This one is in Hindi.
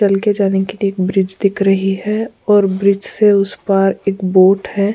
चल के जाने के लिए एक ब्रिज दिख रही है और ब्रिज से उस पार एक बोट है।